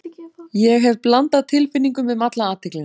Ég hef blandað tilfinningum um alla athyglina.